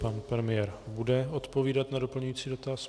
Pan premiér bude odpovídat na doplňující dotaz.